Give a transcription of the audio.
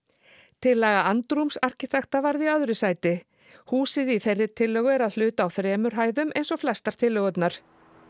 tillaga andrúms arkitekta varð í öðru sæti húsið í þeirri tillögu er að hluta á þremur hæðum eins og flestar tillögurnar